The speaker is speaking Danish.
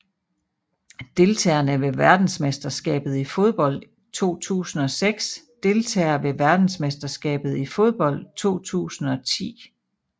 Deltagere ved verdensmesterskabet i fodbold 2006 Deltagere ved verdensmesterskabet i fodbold 2010